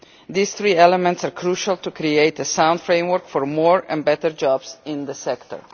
These three elements are crucial to creating a sound framework for more and better jobs in the sector.